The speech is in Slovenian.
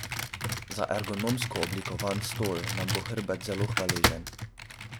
Za ergonomsko oblikovan stol nam bo hrbet zelo hvaležen!